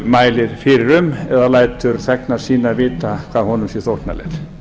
mælir fyrir um eða lætur sína þegna sína vita hvað honum sé þóknanlegt